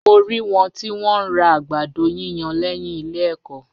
Mo rí wọn tí wọ́n ń ra àgbàdo yíyan lẹ́yìn ilé ẹ̀kọ́.